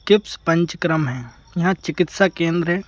Kips पंचक्रम है यहाँ चिकित्सा केंद्र है।